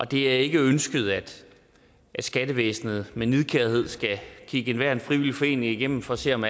det er ikke ønsket at skattevæsenet med nidkærhed skal kigge enhver frivillig forening igennem for at se om